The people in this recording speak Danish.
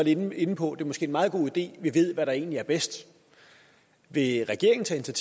lidt inde på at det måske meget god idé at vi ved hvad der egentlig er bedst vil regeringen tage